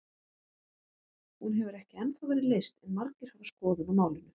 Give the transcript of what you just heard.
Hún hefur ekki ennþá verið leyst en margir hafa skoðun á málinu.